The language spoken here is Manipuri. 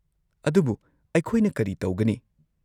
-ꯑꯗꯨꯕꯨ, ꯑꯩꯈꯣꯏꯅ ꯀꯔꯤ ꯇꯧꯒꯅꯤ?